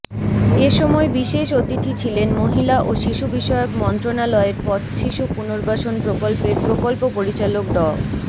এ সময় বিশেষ অতিথি ছিলেন মহিলা ও শিশুবিষয়ক মন্ত্রণালয়ের পথশিশু পুনর্বাসন প্রকল্পের প্রকল্প পরিচালক ড